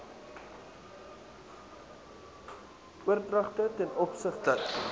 oordragte t o